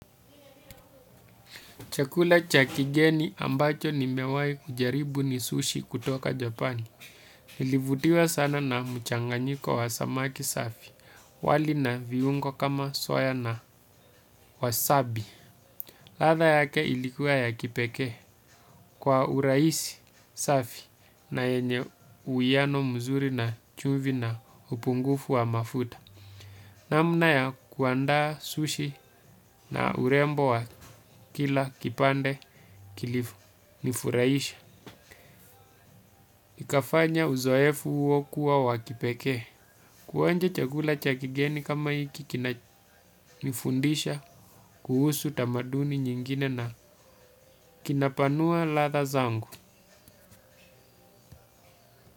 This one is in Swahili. Chakula cha kigeni ambacho nimewahi kujaribu ni sushi kutoka Japani. Nilivutiwa sana na mchanganyiko wa samaki safi. Wali na viungo kama soya na wasabi. Ladha yake ilikuwa ya kipekee. Kwa urahisi safi na yenye uwiano mzuri na chumvi na upungufu wa mafuta. Namna ya kuandaa sushi na urembo wa kila kipane kili nifuraisha. Ikafanya uzoefu huo kuwa wa kipekee. Kuonja chakula cha kigeni kama hiki kinanifundisha kuhusu tamaduni nyingine na kinapanua ladha zangu.